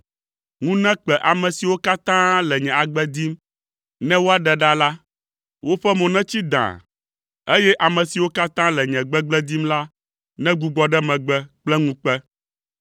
Ŋu nekpe ame siwo katã le nye agbe dim ne woaɖe ɖa la; woƒe mo netsi dãa, eye ame siwo katã le nye gbegblẽ dim la negbugbɔ ɖe megbe kple ŋukpe.